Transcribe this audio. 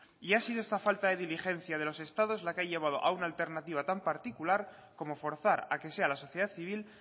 y ha sido esta falta de diligencia de los estados la que ha llevado a una alternativa tan particular como forzar a que sea la sociedad civil